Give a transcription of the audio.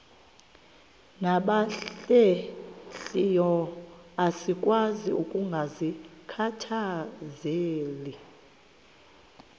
nabahlehliyo asikwazi ukungazikhathaieli